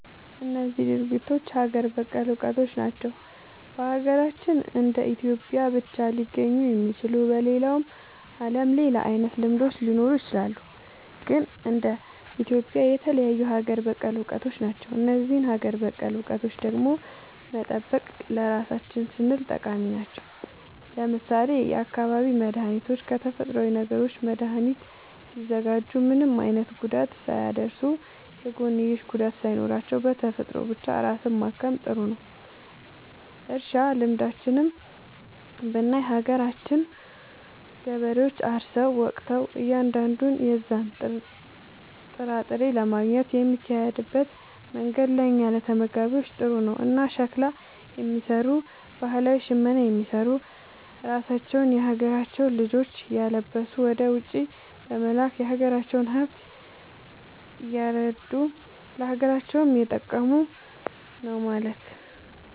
እነዚህ ድርጊቶች ሀገር በቀል እውቀቶች ናቸው። በሀገራችን እንደ ኢትዮጵያ ብቻ ሊገኙ የሚችሉ። በሌላው ዓለምም ሌላ አይነት ልምዶች ሊኖሩ ይችላሉ። ግን እንደ ኢትዮጵያ የተለዩ ሀገር በቀል እውቀቶች ናቸው። እነዚህን ሀገር በቀል እውቀቶች ደግሞ መጠበቅ ለራሳችን ስንል ጠቃሚ ናቸው። ለምሳሌ የአካባቢ መድኃኒቶችን ከተፈጥሮዊ ነገሮች መድኃኒት ሲያዘጋጁ ምንም አይነት ጉዳት ሳያደርሱ፣ የጎንዮሽ ጉዳት ሳይኖራቸው፣ በተፈጥሮ ብቻ ራስን ማከም ጥሩ ነዉ። እርሻ ልምዶችንም ብናይ የሀገራችን ገበሬዎች አርሰው ወቅተው እያንዳንዱን የዛን ጥራጥሬ ለማግኘት የሚሄድበት መንገድ ለእኛ ለተመጋቢዎች ጥሩ ነው። እና ሸክላ የሚሰሩ ባህላዊ ሽመና የሚሰሩ ራሳቸውን የሀገራቸውን ልጆች እያለበሱ ወደ ውጪ በመላክ የሀገራቸውን ሃብት እያረዱ ለሀገራቸውም እየጠቀሙ ነው ማለት።